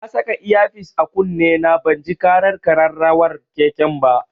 Na saka iya fis a kunne na banji ƙarar ƙararrawar keken ba.